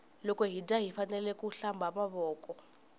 loko hi dya hifanekele ku hlamba mavoko